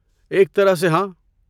ایک طرح سے، ہاں؟